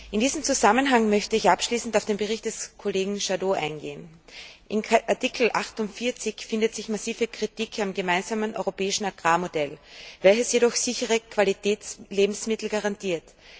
In diesem Zusammenhang möchte ich abschließend auf den Bericht des Kollegen Jadot eingehen. In Artikel 48 findet sich massive Kritik am gemeinsamen europäischen Agrarmodell, welches jedoch sichere Qualitätslebensmittel garantiert.